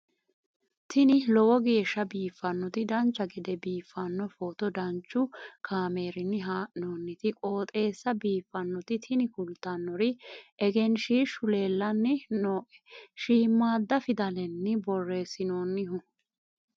tini lowo geeshsha biiffannoti dancha gede biiffanno footo danchu kaameerinni haa'noonniti qooxeessa biiffannoti tini kultannori egenshshiishu leellanni nooe shiimaada fidalenni borreessinoonnihu